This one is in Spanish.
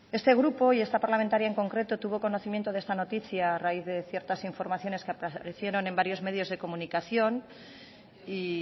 este grupo y esta parlamentaria en concreto tuvo conocimiento de esta noticia a raíz de ciertas informaciones que aparecieron en varios medios de comunicación y